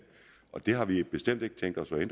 og det har vi bestemt ikke tænkt os at